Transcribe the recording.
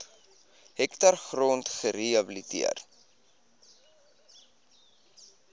hektaar grond gerehabiliteer